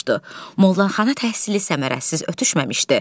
Mollaxana təhsili səmərəsiz ötüşməmişdi.